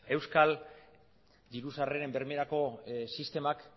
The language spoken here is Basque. euskal diru sarreren bermerako sistemak